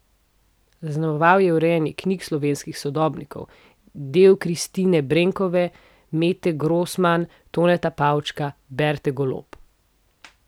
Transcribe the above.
Zaznamoval je urejanje knjig slovenskih sodobnikov, del Kristine Brenkove, Mete Grosman, Toneta Pavčka, Berte Golob.